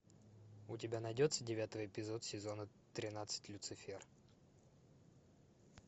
у тебя найдется девятый эпизод сезона тринадцать люцифер